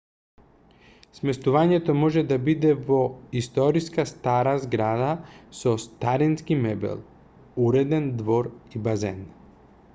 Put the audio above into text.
сместувањето може да биде во историска стара зграда со старински мебел уреден двор и базен